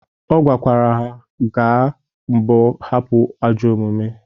Ọ gwa lkwara ha gbaa mbọ hapụ ajọ omume.